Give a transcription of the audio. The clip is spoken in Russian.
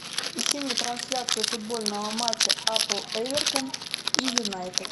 ищи мне трансляцию футбольного матча апл эвертон и юнайтед